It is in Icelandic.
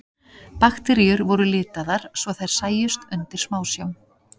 Bakteríur voru litaðar svo þær sæjust undir smásjá.